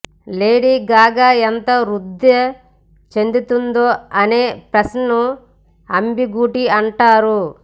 lady Gaga ఎంత వృద్ధి చెందుతుందో అనే ప్రశ్నను అంబీగూటి అంటారు